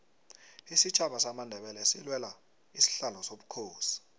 isitjhaba samandebele silwela isihlalo sobukhosi